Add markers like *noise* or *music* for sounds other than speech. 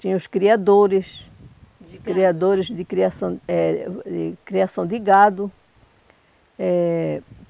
Tinha os criadores *unintelligible* criadores de criação eh de criação de gado. Eh